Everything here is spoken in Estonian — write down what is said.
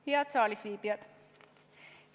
Head saalis viibijad!